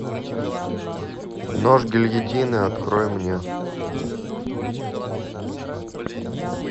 нож гильотины открой мне